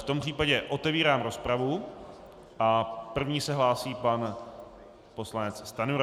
V tom případě otevírám rozpravu a první se hlásí pan poslanec Stanjura.